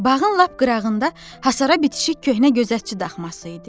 Bağın lap qırağında hasara bitişik köhnə gözətçi daxması idi.